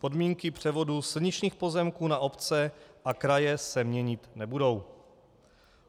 Podmínky převodu silničních pozemků na obce a kraje se měnit nebudou.